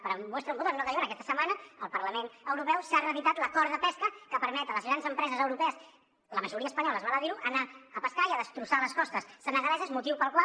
para muestra un botónque diuen aquesta setmana al parlament europeu s’ha reeditat l’acord de pesca que permet a les grans empreses europees la majoria espanyoles val a dir ho anar a pescar i a destrossar les costes senegaleses motiu pel qual